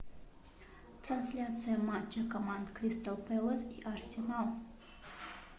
трансляция матча команд кристал пэлас и арсенал